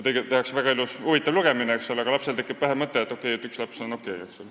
Tegelikult on see väga huvitav lugemine, aga lapsel tekib peas mõte, et üks laps on okei.